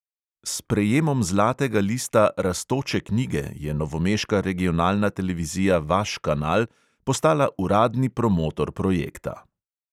S prejemom zlatega lista rastoče knjige je novomeška regionalna televizija vaš kanal postala uradni promotor projekta.